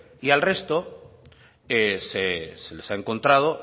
y al resto se les ha encontrado